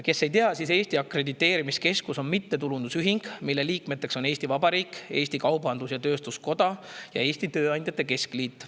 Kes ei tea, siis Eesti Akrediteerimiskeskus on mittetulundusühing, mille liikmed on Eesti Vabariik, Eesti Kaubandus‑Tööstuskoda ning Eesti Tööandjate Keskliit.